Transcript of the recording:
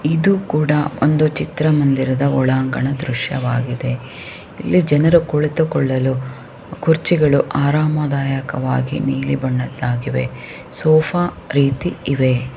ಇದು ಕೂಡ ಒಂದು ಚಿತ್ರ ಮಂದಿರದ ಒಂಡನ್ಗ ದೃಶ್ಯ ವಾಗಿದೆ. ಇಲ್ಲಿ ಜನರು ಕುತ್ತು ಕೊಳಲು ಕುರ್ಚಿಗಳು ಆರಾಮದಾಯಕವಾಗಿ ನೀಲಿ ಬಣ್ಣದಾಯಕವಾಗಿವಿ ಸೋಫಾ ರೀತಿ ಇವೆ.